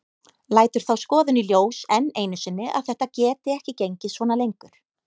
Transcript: Lætur þá skoðun í ljós enn einu sinni að þetta geti ekki gengið svona lengur.